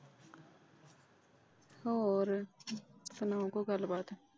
ਹੋਰ ਸੁਣਾਓ ਕੋਈ ਗੱਲਬਾਤ।